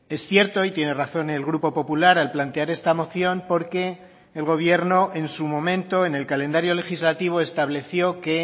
es cierto y tiene razón el grupo popular al plantear esta moción porque el gobierno en su momento en el calendario legislativo estableció que